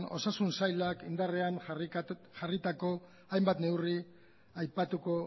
osasun sailak indarrean jarritako hainbat neurri aipatuko